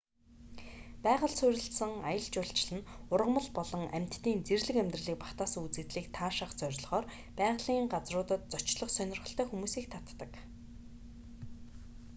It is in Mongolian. байгальд суурилсан аялал жуулчлал нь ургамал болон амьтдын зэрлэг амьдралыг багтаасан үзэгдлийг таашаах зорилгоор байгалийн газруудад зочлох сонирхолтой хүмүүсийг татдаг